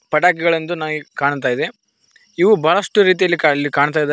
ಪಟಾಕಿಗಳೆಂದು ನನಿಗ್ ಕಾಣ್ತಾ ಇದೆ ಇವು ಬಹಳಷ್ಟು ರೀತಿಯಲ್ಲಿ ಇಲ್ಲಿ ಕಾಣ್ತಾ ಇ--